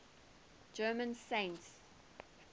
german saints